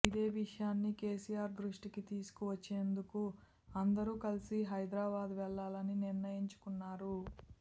ఇదే విషయాన్ని కేసీఆర్ దృష్టికి తీసుకువచ్చేందుకు అందరూ కలిసి హైదరాబాద్ వెళ్ళాలని నిర్ణయించుకున్నారు